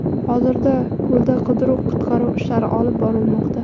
Hozirda ko‘lda qidiruv-qutqaruv ishlari olib borilmoqda.